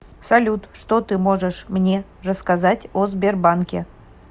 салют что ты можешь мне рассказать о сбербанке